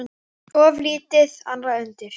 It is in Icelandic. Of lítið annað undir.